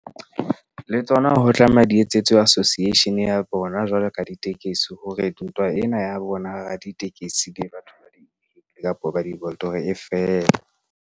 Le tsona ho tlameha di etsetswe association ya bona. Jwalo ka ditekesi hore ntwa ena ya bona raditekesi le batho kapo ba e fele.